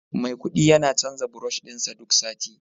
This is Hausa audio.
Maikudi yana canza brush din sa duk sati